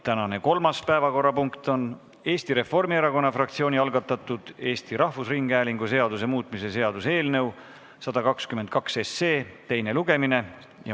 Tänane kolmas päevakorrapunkt on Eesti Reformierakonna fraktsiooni algatatud Eesti Rahvusringhäälingu seaduse muutmise seaduse eelnõu 122 teine lugemine.